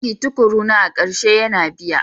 Aiki tukuruna a ƙarshe yana biya.